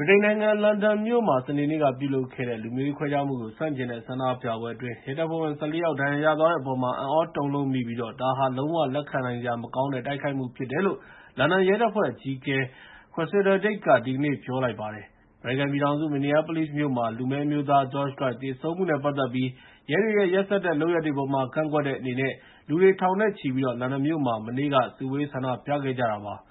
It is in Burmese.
ဗြိတိန်နိုင်ငံ လန်ဒန်မြို့မှာ စနေနေ့က ပြုလုပ်ခဲ့တဲ့ လူမျိုးရေးခွဲခြားမှုကို ဆန့်ကျင်တဲ့ ဆန္ဒပြပွဲအတွင်း ရဲတပ်ဖွဲ့ဝင် ၁၄ ယောက် ဒဏ်ရာရသွားတဲ့အပေါ် အံ့သြတုန်လှုပ်မိပြီး ဒါဟာ လုံးဝလက်ခံနိုင်စရာ မကောင်းတဲ့ တိုက်ခိုက်မှု ဖြစ်တယ်လို့ လန်ဒန်ရဲတပ်ဖွဲ့ အကြီးအကဲ Cressida Dick က ဒီနေ့ ပြောလိုက်ပါတယ်။ အမေရိကန်ပြည်ထောင်စု Minneapolis မြို့မှာ လူမည်းအမျိုးသား George Floyd သေဆုံးမှုနဲ့ ပတ်သက်ပြီး ရဲတွေရဲ့ ရက်စက်တဲ့ လုပ်ရပ်တွေအပေါ်မှာ ကန့်ကွက်တဲ့အနေနဲ့ လူတွေထောင်နဲ့ချီပြီး လန်ဒန်မြို့မှာ မနေ့က စုဝေး ဆန္ဒပြခဲ့ကြတာပါ။